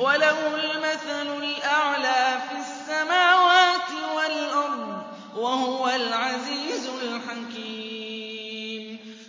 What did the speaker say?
وَلَهُ الْمَثَلُ الْأَعْلَىٰ فِي السَّمَاوَاتِ وَالْأَرْضِ ۚ وَهُوَ الْعَزِيزُ الْحَكِيمُ